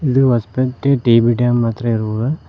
ಇದು Hospet T B dam ಹತ್ರ ಇರುವ--